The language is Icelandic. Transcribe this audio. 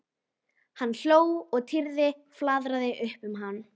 Hann hló og Týri flaðraði upp um hann.